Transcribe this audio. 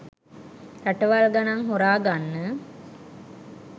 රටවල් ගණන් හොරාගන්න